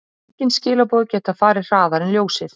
Engin skilaboð geta farið hraðar en ljósið.